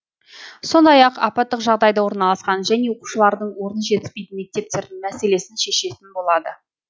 сондай ақ апаттық жағдайда орналасқан және оқушылардың орны жетіспейтін мектептердің мәселесін шешетін болады